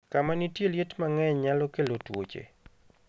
Kama nitie liet mang'eny nyalo kelo tuoche.